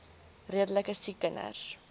redelike siek kinders